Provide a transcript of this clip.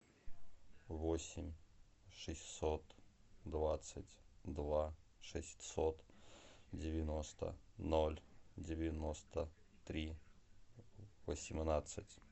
восемь шестьсот двадцать два шестьсот девяносто ноль девяносто три восемнадцать